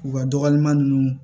U ka dɔgɔma ninnu